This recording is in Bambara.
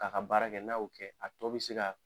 K'a ka baara kɛ n'ao kɛ a tɔ bɛ se ka.